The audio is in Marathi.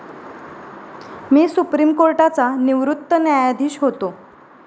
मी सुप्रीम कोर्टाचा निवृत्त न्यायाधीश होतो.